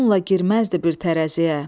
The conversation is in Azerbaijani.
Onunla girməzdi bir tərəziyə.